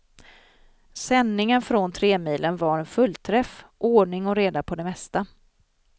Sändningen från tremilen var en fullträff, ordning och reda på det mesta.